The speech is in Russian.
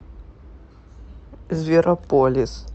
зверополис